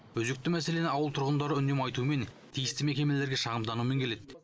өзекті мәселені ауыл тұрғындары үнемі айтумен тиісті мекемелерге шағымданумен келеді